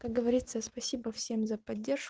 как говорится спасибо всем за поддерж